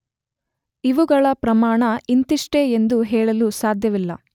ಇವುಗಳ ಪ್ರಮಾಣ ಇಂತಿಷ್ಟೇ ಎಂದು ಹೇಳಲು ಸಾಧ್ಯವಿಲ್ಲ.